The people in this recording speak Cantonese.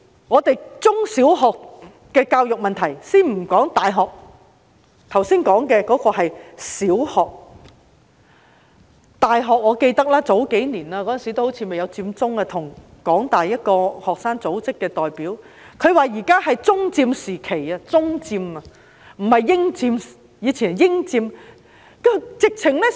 就着中小學的教育問題——先不說大學，剛才說的是小學——我記得數年前，當時好像還未發生佔中事件，我跟香港大學一個學生組織的代表傾談，他說現在是"中佔"時期，是"中佔"，不是"英佔"，以前則是"英佔"。